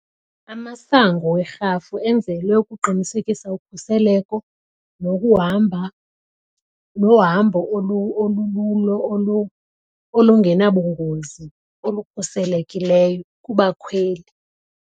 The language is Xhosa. Amasango werhafu enzelwe ukuqinisekisa ukhuseleko nokuhamba nohambo olululo olungenabungozi olukhuselekileyo kubakhweli.